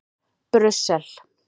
Brussel